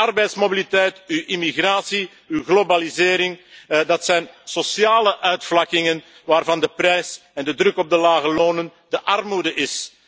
Uw arbeidsmobiliteit, uw immigratie, uw globalisering, dat zijn sociale uitvlakkingen waarvan de prijs de druk op de lage lonen en de armoede zijn.